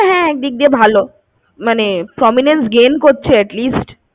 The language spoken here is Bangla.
হ্যাঁ একদিক দিয়ে ভালো, মানে prominence gain করছে at least ।